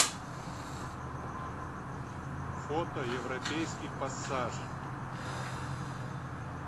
фото европейский пассаж